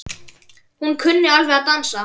Hún kunni alveg að dansa.